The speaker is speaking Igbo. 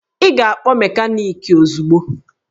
Ị ga-akpọ mekaniki ozugbo!